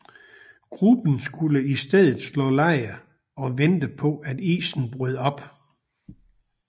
Gruppen skulle i stedet slå lejr og vente på at isen brød op